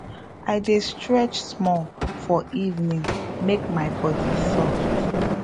i dey stretch small for evening make my body soft